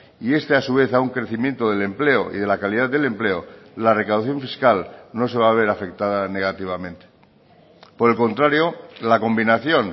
y este a su vez a un crecimiento del empleo y de la calidad del empleo la recaudación fiscal no se va a ver afectada negativamente por el contrario la combinación